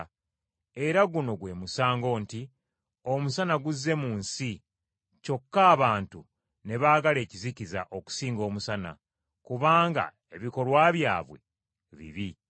Era guno gwe musango nti: Omusana guzze mu nsi, kyokka abantu ne baagala ekizikiza okusinga omusana, kubanga ebikolwa byabwe bibi.